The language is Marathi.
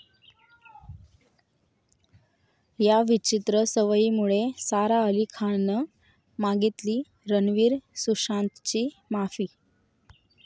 या' विचित्र सवयीमुळे सारा अली खाननं मागितली रणवीर, सुशांतची माफी